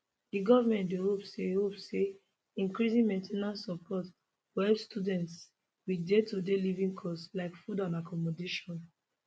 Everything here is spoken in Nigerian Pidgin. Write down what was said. the government dey hope say hope say increasing main ten ance support go help students wit daytoday living costs like food and accommodation